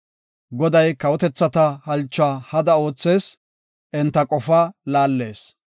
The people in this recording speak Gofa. Goday kawotethata halchuwa hada oothees; enta qofaa laallees.